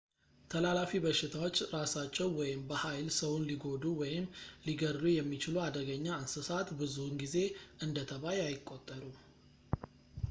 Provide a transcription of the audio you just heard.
ተላላፊ በሽታዎች ራሳቸው ወይም በኃይል ሰውን ሊጎዱ ወይም ሊገድሉ የሚችሉ አደገኛ እንሰሳት ብዙውን ጊዜ እንደ ተባይ አይቆጠሩም